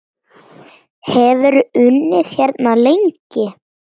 Hefurðu unnið hérna lengi?